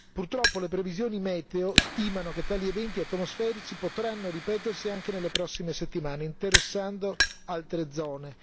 Purtroppo le previsioni meteo stimano che tali eventi atmosferici potranno ripetersi anche nelle prossime settimane, interessando altre zone.